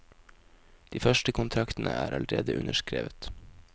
De første kontraktene er allerede underskrevet.